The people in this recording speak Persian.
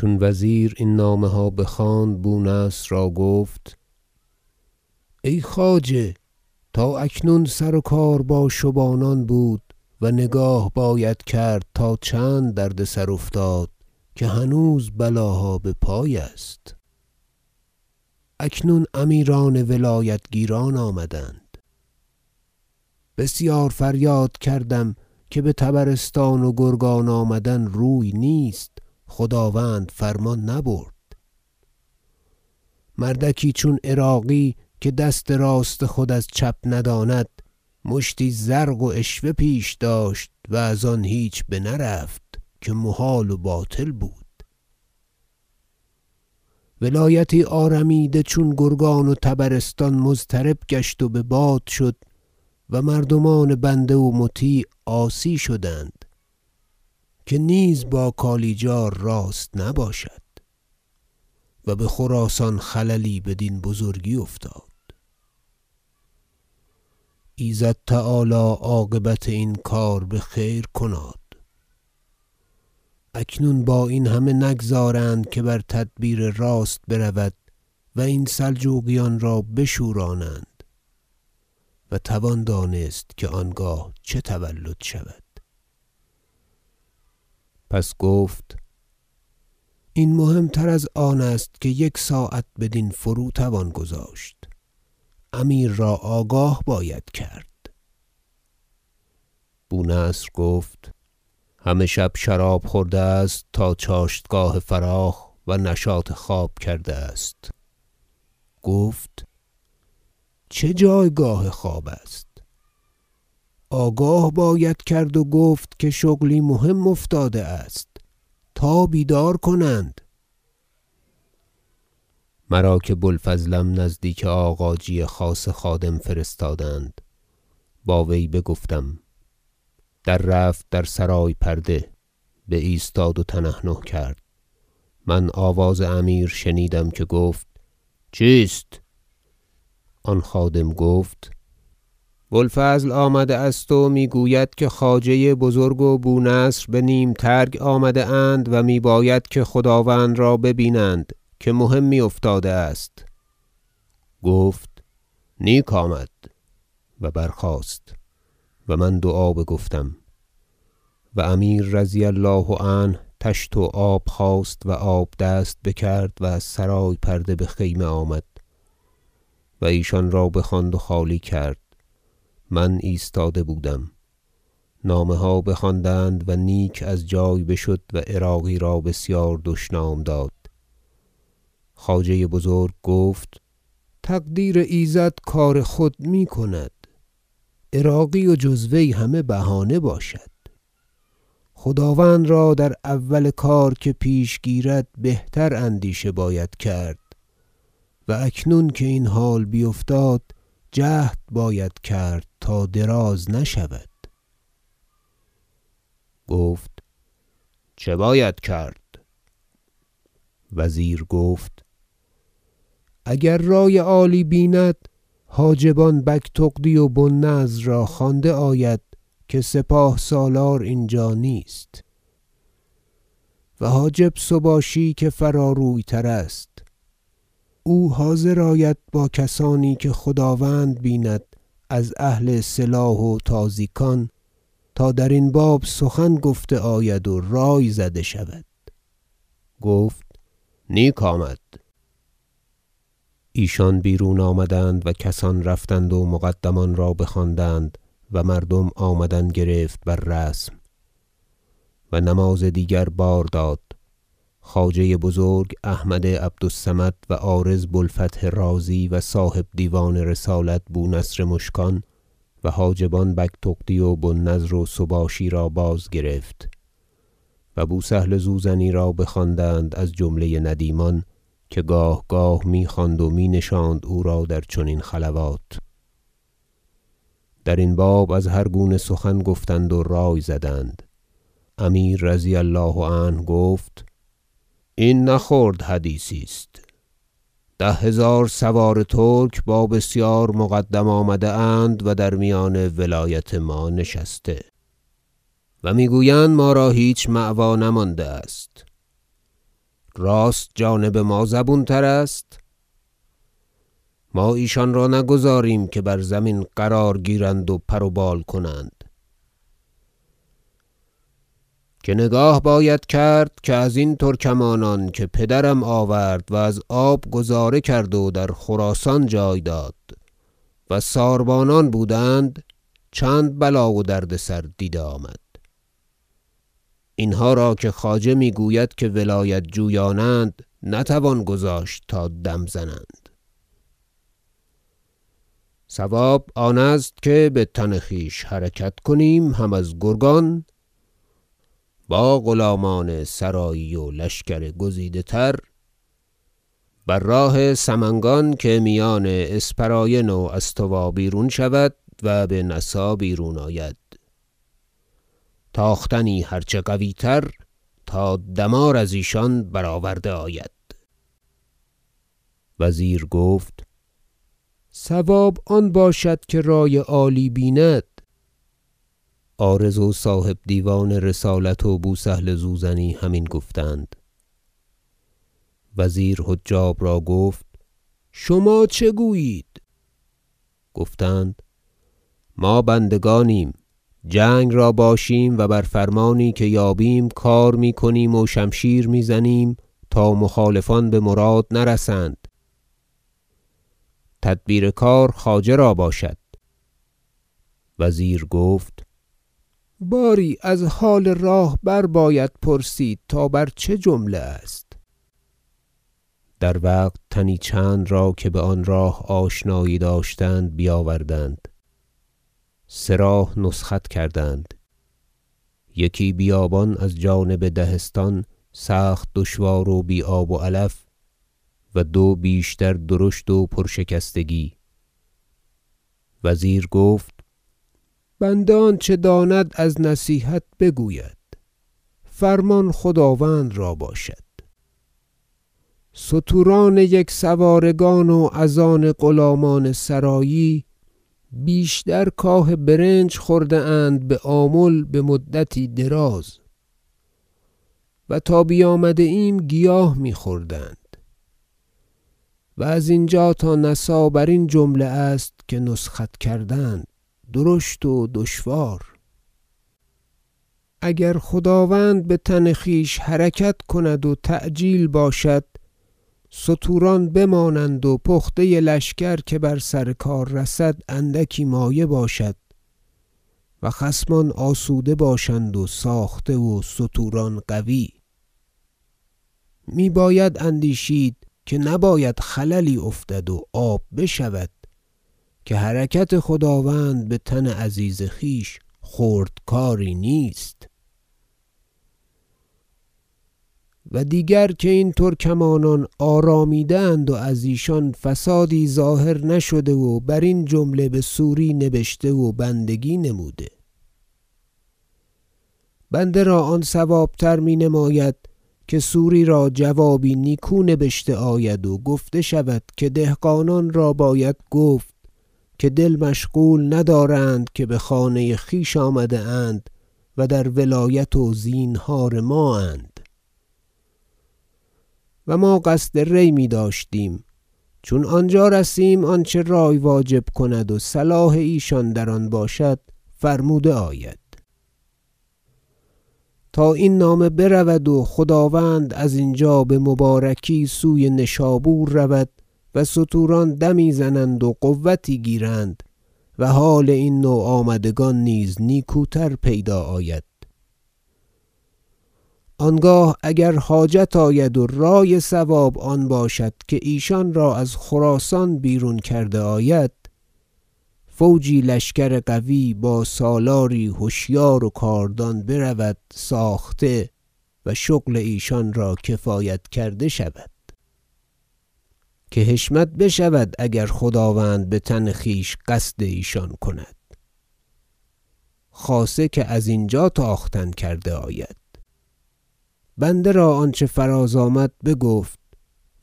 چون وزیر این نامه ها بخواند بونصر را گفت ای خواجه تا اکنون سر و کار با شبانان بود و نگاه باید کرد تا چند دردسر افتاد که هنوز بلاها بپای است اکنون امیران ولایت گیران آمدند بسیار فریاد کردم که بطبرستان و گرگان آمدن روی نیست خداوند فرمان نبرد مردکی چون عراقی که دست راست خود از چپ نداند مشتی زرق و عشوه پیش داشت و از آن هیچ بنرفت که محال و باطل بود ولایتی آرمیده چون گرگان و طبرستان مضطرب گشت و بباد شد و مردمان بنده و مطیع عاصی شدند که نیز با کالیجار راست نباشد و بخراسان خللی بدین بزرگی افتاد ایزد تعالی عاقبت این کار بخیر کناد اکنون با این همه نگذارند که بر تدبیر راست برود و این سلجوقیان را بشورانند و توان دانست که آنگاه چه تولد شود پس گفت این مهم تر از آن است که یک ساعت بدین فرو توان گذاشت امیر را آگاه باید کرد بونصر گفت همه شب شراب خورده است تا چاشتگاه فراخ و نشاط خواب کرده است گفت چه جایگاه خواب است آگاه باید کرد و گفت که شغلی مهم افتاده است تا بیدار کنند مرا که بوالفضلم نزدیک آغاجی خاصه خادم فرستادند با وی بگفتم در رفت در سرای پرده بایستاد و تنحنح کرد من آواز امیر شنیدم که گفت چیست آن خادم گفت بوالفضل آمده است و میگوید که خواجه بزرگ و بونصر به نیم ترگ آمده اند و میباید که خداوند را ببینند که مهمی افتاده است گفت نیک آمد و برخاست و من دعا بگفتم و امیر رضی الله عنه طشت و آب خواست و آب دست بکرد و از سرای پرده بخیمه آمد و ایشان را بخواند و خالی کرد من ایستاده بودم نامه ها بخواندند و نیک از جای بشد و عراقی را بسیار دشنام داد خواجه بزرگ گفت تقدیر ایزد کار خود میکند عراقی و جز وی همه بهانه باشد خداوند را در اول هر کار که پیش گیرد بهتر اندیشه باید کرد و اکنون که این حال بیفتاد جهد باید کرد تا دراز نشود گفت چه باید کرد وزیر گفت اگر رای عالی بیند حاجبان بگتغدی و بوالنضر را خوانده آید که سپاه سالار اینجا نیست و حاجب سباشی که فراروی تر است او حاضر آید با کسانی که خداوند بیند از اهل سلاح و تازیکان تا درین باب سخن گفته آید و رای زده شود گفت نیک آمد ایشان بیرون آمدند و کسان رفتند و مقدمان را بخواندند و مردم آمدن گرفت بر رسم و نماز دیگر بار داد خواجه بزرگ احمد عبد الصمد و عارض بوالفتح رازی و صاحب دیوان رسالت بونصر مشکان و حاجبان بگتغدی و بوالنضر و سباشی را باز گرفت و بوسهل زوزنی را بخواندند از جمله ندیمان که گاه گاه میخواند و می نشاند او را در چنین خلوات درین باب از هر گونه سخن گفتند و رای زدند امیر رضی الله عنه گفت این نه خرد حدیثی است ده هزار سوار ترک با بسیار مقدم آمده اند و در میان ولایت ما نشسته و میگویند که ما را هیچ جای مأوی نمانده است راست جانب ما زبون تر است ما ایشان را نگذاریم که بر زمین قرار گیرند و پر و بال کنند که نگاه باید کرد که ازین ترکمانان که پدرم آورد و از آب گذاره کرد و در خراسان جای داد و ساربانان بودند چند بلا و دردسر دیده آمد اینها را که خواجه میگوید که ولایت جویانند نتوان گذاشت که دم زنند صواب آن است که بتن خویش حرکت کنیم هم از گرگان با غلامان سرایی و لشکر گزیده تر بر راه سمنگان که میان اسپراین و استوا بیرون شود و بنسا بیرون آید تاختنی هر چه قویتر تا دمار از ایشان برآورده آید وزیر گفت صواب آن باشد که رای عالی بیند عارض و صاحب دیوان رسالت و بوسهل زوزنی همین گفتند وزیر حجاب را گفت شما چه گویید گفتند ما بندگانیم جنگ را باشیم و بر فرمانی که یابیم کار میکنیم و شمشیر میزنیم تا مخالفان بمراد نرسند تدبیر کار خواجه را باشد وزیر گفت باری از حال راه برباید پرسید تا بر چه جمله است در وقت تنی چند را که با آن راه آشنایی داشتند بیاوردند سه راه نسخت کردند یکی بیابان از جانب دهستان سخت دشوار و بی آب و علف و دو بیشتر درشت و پر شکستگی وزیر گفت بنده آنچه داند از نصیحت بگوید فرمان خداوند را باشد ستوران یکسوارگان و از آن غلامان سرایی بیشتر کاه برنج خورده اند بآمل مدتی دراز و تا بیامده ایم گیاه میخورند و از اینجا تا نسا برین جمله است که نسخت کردند درشت و دشوار اگر خداوند بتن خویش حرکت کند و تعجیل باشد ستوران بمانند و پخته لشکر که بر سر کار رسد اندکی مایه باشد و خصمان آسوده باشند و ساخته و ستوران قوی میباید اندیشید که نباید خللی افتد و آب بشود که حرکت خداوند بتن عزیز خویش خرد کاری نیست و دیگر که این ترکمانان آرامیده اند و از ایشان فسادی ظاهر نشده و برین جمله بسوری نبشته و بندگی نموده بنده را آن صوابتر مینماید که سوری را جوابی نیکو نبشته آید و گفته شود که دهقانان را باید گفت که دل مشغول ندارند که بخانه خویش آمده اند و در ولایت و زینهار مااند و ما قصد ری میداشتیم چون آنجا رسیم آنچه رای واجب کند و صلاح ایشان در آن باشد فرموده آید تا این نامه برود و خداوند از اینجا بمبارکی سوی نشابور رود و ستوران دمی زنند و قوتی گیرند و حال این نوآمدگان نیز نیکوتر پیدا آید آنگاه اگر حاجت آید و رای صواب آن باشد که ایشان را از خراسان بیرون کرده آید فوجی لشکر قوی با سالاری هشیار و کاردان برود ساخته و شغل ایشان را کفایت کرده شود که حشمت بشود اگر خداوند بتن خویش قصد ایشان کند خاصه که از اینجا تاختن کرده آید بنده را آنچه فراز آمد بگفت